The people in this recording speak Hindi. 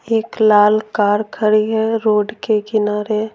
एक लाल कार खड़ी है रोड के किनारे।